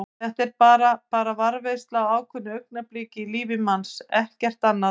Þetta er bara. bara varðveisla á ákveðnu augnabliki í lífi manns, ekkert annað.